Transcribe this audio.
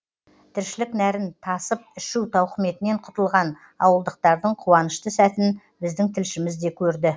тіршілік нәрін тасып ішу тауқыметінен құтылған ауылдықтардың қуанышты сәтін біздің тілшіміз де көрді